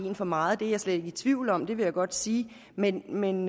en for meget det er jeg slet ikke i tvivl om vil jeg godt sige men men